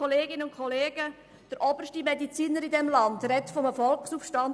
Der oberste Mediziner in diesem Land spricht von einem Volksaufstand.